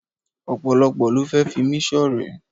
Ọ̀pọ̀lọ́pọ̀ ló fẹ́ fi mí ṣọ̀rẹ́.